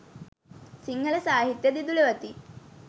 සිංහල සාහිත්‍යය දිදුලවති.